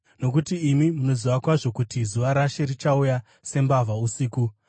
nokuti imi munoziva kwazvo kuti zuva raShe richauya sembavha usiku.